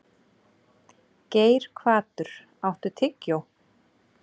Geirhvatur, áttu tyggjó?